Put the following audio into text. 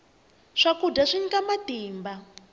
swakudya swi nyika matimba